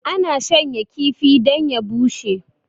ana shanya kifi don ya bushe